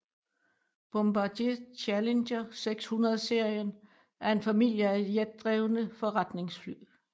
Bombardier Challenger 600 serien er en familie af jetdrevne forretningsfly